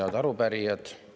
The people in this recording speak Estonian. Head arupärijad!